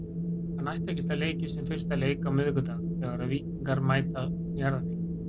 Hann ætti að geta leikið sinn fyrsta leik á miðvikudag þegar að Víkingar mæta Njarðvík.